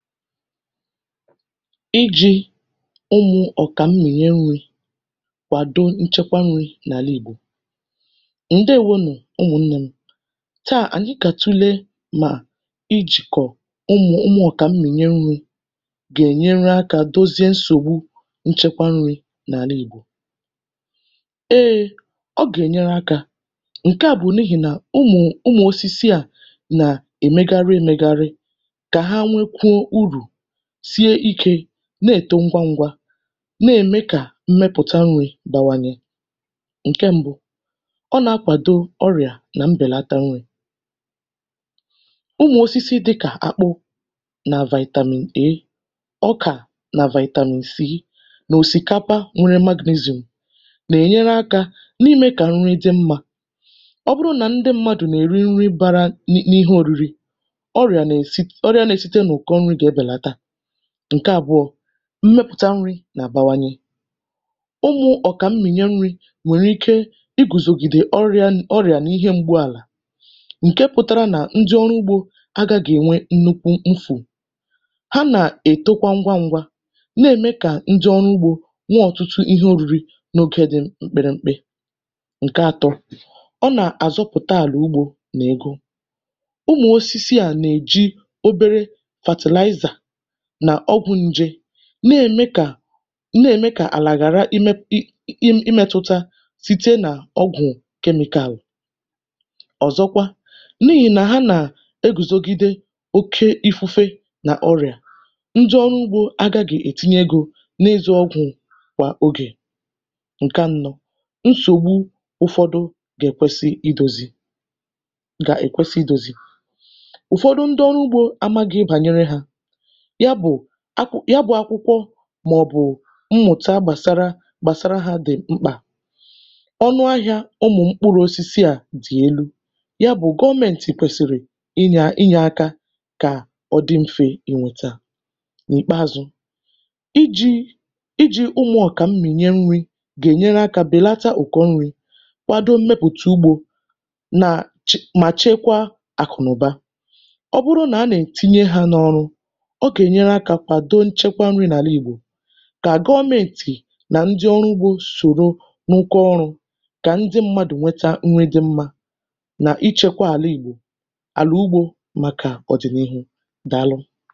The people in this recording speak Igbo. ijī ọ̀kwà mmụ̀nyẹ nrī kwàdo nchẹkwa nrī nà àla ìgbò. ǹdèwo nù. tà, ànyị gà àtụle nà ijìkọ̀ ụmụ̀ ọ̀kà mmụnyẹ nrī gà ènyere akā, dozie nsògbu nchẹkwa nrī, n’àlà ìgbò. e, ọ gà ènyere akā. ǹkẹ à bụ̀ n’ihì nà ụmụ̀ ụmụ̀ osisi à nà èmegarị e megarị, kà ha nwete urù, sie ikē, nà ème ngwa ngwa, nà ème kà mmẹpụ̀ta nrī bawanye. ǹkẹ mbụ, ọ nà akwàdo ọrị̀à nà mbẹ̀lata nrī. ụmụ̀ osisi dịkà akpụ̀, nà vitamin A, ọkà nà vitamin C, nà òsìkapa, na enwe magnesium nà ènyere akā, n’ịmẹ̄ kà nri dị mmā. ọ bụrụ nà ndị mmadù nà èri ihẹ bara n’ihe oriri, ọrịà nà èsi, ọrịa nae site n’ụ̀kọ nrī gà ẹbẹ̀lata. ǹkẹ àbụọ̄, mmepùta nrī gà àbawanyẹ. ụmụ̄ ọ̀kà mmụ̀nyẹ nrī nwèrè ike igùzògìdè ọrị̀à nà ihe mgbu àlà, ǹke pụtara nà ndị ọrụ ugbō agaghị ẹ̀nwẹ nnukwu mfò. ha nà ètokwa ngwa ngwa, nà ème kà ndị ọrụ ugbō nwẹ ọ̀tụtụ ihe oriri na ogē dị mpẹrẹmpẹ. ǹkẹ atọ, ọ nà àzọpụ̀ta àlà ugbō n’ụ̀kọ. ụmụ̀ osisi à nà èji obere fertilizer nà ọgwụ̄ nje, nà ème kà, nà ème kà àlà ghàra ịmẹ̄tụta, site nà ọgwụ e mètàrà. ọ̀zọkwa, n’ihì nà ha nà ègùzogide oke ifufe nà ọrị̀à, njẹ ọrụ ọgwụ̄ agaghị ètinye egō n’ịzọ̀ ụkwụ̄ kwà ogè. ǹkẹ anọ, nsògbu ụ̀fọdị gà ẹ̀kwẹsị idōzi, gà ẹ̀kwẹsị idōzi. ụ̀fọdụ ndị ọrụ ugbō amaghị ịhẹ bànyẹrẹ ọrụ ha, ya bụ̄ akwụkwọ mà ọ̀ bụ̀ mmụ̀ta gbàsara, gbàsara ha dị̀ mkpà. ọnụ ahịā ụmụ̀ mkpụrụ̄osisi à dị̀ elu, yà bụ̀ gọmẹ̀ntị̀ kwẹ̀sị̀rị̀ ịnyẹ̄ aka kà ọ dị mfe nghọta. n’ìkpeazu, ijī ijī ụlọ̄ ọ̀kà mmụ̀nyẹ nrī gà ènyerẹ akā bẹ̀lata ụ̀kọ nrī, ya bụ ẹmẹpụ̀ta ugbō, nà mà chẹkwa àkụ̀nụ̀ba. ọ bụrụ nà a nà ètinye ha n’ọrụ, ọ gà ènyere akā kwàdo nchẹkwa nọ̄ n’àla ìgbò, kà gọmẹ̀ntị̀ nà ndị ọrụ ugbō sòro rụkọ ọrụ̄, kà ndị mmadù nweta ihe dị mmā, nà ịchekwa àla ìgbò, àlà ugbō màkà ọ̀dị̀nịhụ. Dàalụ̀.